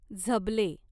झबले